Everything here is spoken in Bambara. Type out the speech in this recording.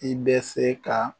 I bɛ se ka